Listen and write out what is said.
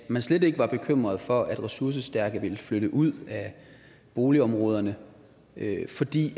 at man slet ikke var bekymret for at ressourcestærke ville flytte ud af boligområderne fordi